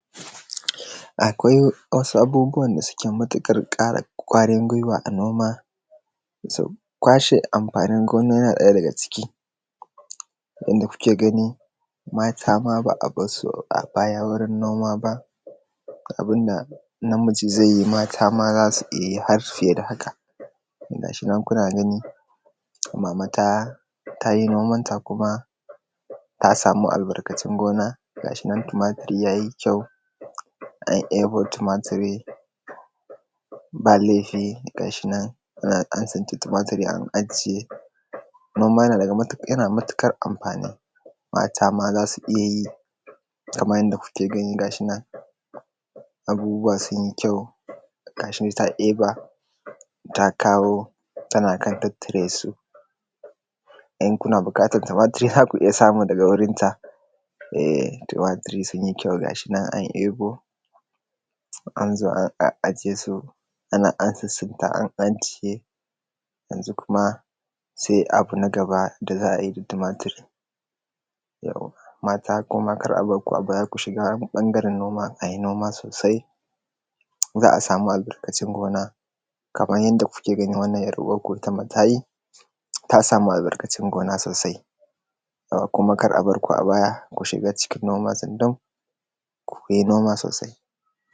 Akwai wasu abubuwan da suke matuƙar ƙara ƙwarin gwiwa a noma so kwashe amfanin gona ya ɗaya daga ciki, inda kuke gani mata ma ba a barsu a baya ba wurin noma ba, abun da namiji zai yi mata ma za su iya yi har fiye da haka, gashi nan kuna gani, mama ta ta yi noman ta kuma ta samu albarkacin gona, gashi nan tumatiri ya yi kyau an eabo tumatiri, ba laifi ga shi nan ana an tsintar tumatiri an ajiye, kuma kuma yana matuƙar amfani, mata ma za su iya yi kaman yanda kuke gani ga shi nan abubuwa sun yi kyau, ga shi ta eba ta ƙaro tana kan tattare su in kuna buƙatar tumatiri za ku iya samu daga gurin ta[er] tumatiri sun yi kyau ga shi nan an ebo an zo an a a ajiye su, ana an tsitsinta an ajiye yanzu kuma sai ab na gaba da za a yi da tumatiri mata kuma kar a ba ku a baya, ku shiga ɓangaren noma a yi noma sosai, za a samu albarkacin gona, kaman yanda kuke gani wannan ‘yar uwarku ita ma ta yi ta samu albarkacin gona sosai kuma kada a bar ku a baya ku shiga cikin noma tsundum ku yi noma sosai.